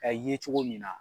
Ka ye cogo minna